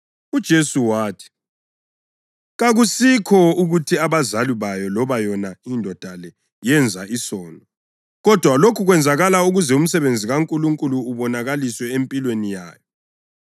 UJesu wathi, “Kakusikho ukuthi abazali bayo loba yona indoda le yenza isono kodwa lokhu kwenzakala ukuze umsebenzi kaNkulunkulu ubonakaliswe empilweni yayo.